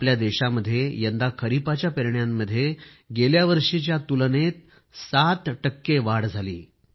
आपल्या देशामध्ये यंदा खरीपाच्या पेरण्यांमध्ये गेल्यावर्षीच्या तुलनेत सात टक्के वाढ झाली आहे